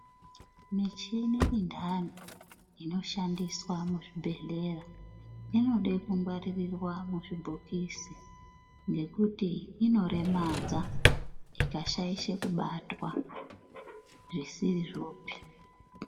Michini intani inoshandiswa muzvibhedhlera inode kungwarirwa muzvibhokisi ngekuti inoremedza ikashaishe kubatwa zvisirizvopi .